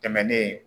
Tɛmɛnen